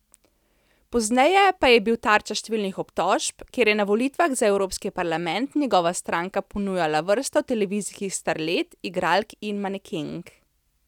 Pozneje pa je bil tarča številnih obtožb, ker je na volitvah za Evropski parlament njegova stranka ponujala vrsto televizijskih starlet, igralk in manekenk.